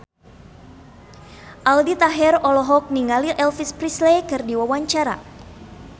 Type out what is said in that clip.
Aldi Taher olohok ningali Elvis Presley keur diwawancara